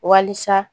Wasa